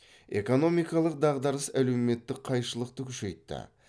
экономикалық дағдарыс әлеуметтік қайшылықты күшейтті